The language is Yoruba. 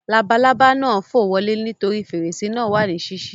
Labalábá náà fò wọlé nítorí fèrèsé náà wà ní sísí